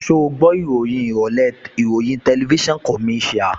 Ṣẹ́ o gbọ́ ìròyìn ìrọ̀lẹ́ ìròyìn TVC?